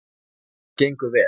Það gengur vel.